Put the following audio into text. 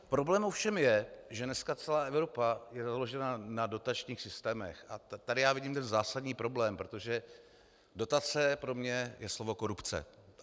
Problém ovšem je, že dneska celá Evropa je založena na dotačních systémech, a tady já vidím ten zásadní problém, protože dotace pro mě je slovo korupce.